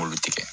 Olu tigɛ